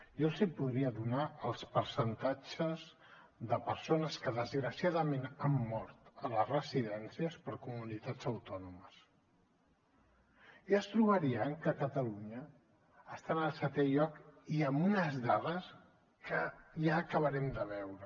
jo els podria donar els percentatges de persones que desgraciadament han mort a les residències per comunitats autònomes i es trobarien que catalunya està en el setè lloc i amb unes dades que ja acabarem de veure